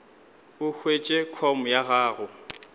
o hwetše com ya gago